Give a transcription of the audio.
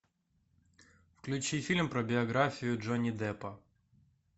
включи фильм про биографию джонни деппа